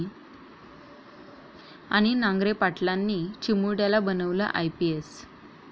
...आणि नांगरे पाटलांनी चिमुरड्याला बनवलं आयपीएस!